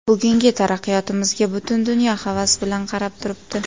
Bugungi taraqqiyotimizga butun dunyo havas bilan qarab turibdi.